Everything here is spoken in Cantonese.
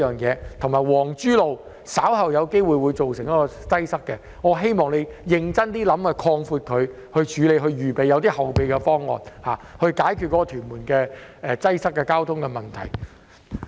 此外，皇珠路稍後亦有機會出現擠塞，我希望他會認真考慮將它擴闊，以處理這個情況，並且有一些後備方案，以解決屯門的交通擠塞問題。